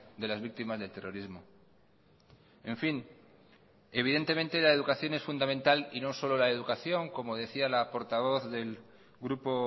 de las víctimas del terrorismo en fin evidentemente la educación es fundamental y no solo la educación como decía la portavoz del grupo